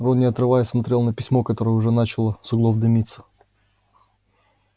он не отрываясь смотрел на письмо которое уже начало с углов дымиться